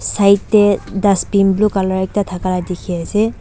Side dae dustbin blue colour ekta thaka lah dekhey ase.